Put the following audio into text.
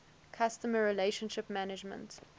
customer relationship management